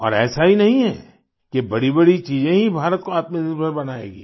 और ऐसा ही नहीं है कि बड़ीबड़ी चीजें ही भारत को आत्मनिर्भर बनाएँगी